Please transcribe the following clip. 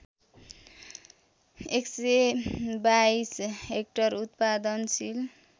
१२२ hectare उत्पादनशील